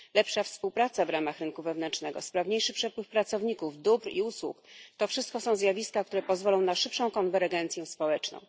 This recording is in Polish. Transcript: Lepsza współpraca w ramach rynku wewnętrznego, sprawniejszy przepływ pracowników, dóbr i usług to wszystko są zjawiska, które pozwolą na szybszą konwergencję społeczną.